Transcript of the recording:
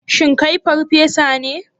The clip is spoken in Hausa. Shin kai farfesa ne?